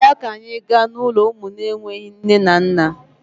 Bịa ka anyị gaa n'ụlọ ụmụ enweghi nne na nna!